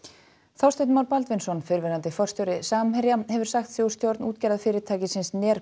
Þorsteinn Már Baldvinsson fyrrverandi forstjóri Samherja hefur sagt sig úr stjórn